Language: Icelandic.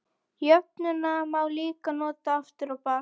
Jöfnuna má líka nota aftur á bak.